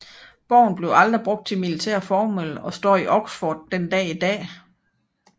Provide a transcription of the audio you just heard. Borgen blev aldrig brugt til militære formål og står i Oxford den dag i dag